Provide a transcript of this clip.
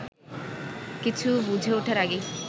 কিছু বুঝে ওঠার আগেই